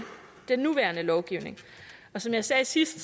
den nuværende lovgivning som jeg sagde sidst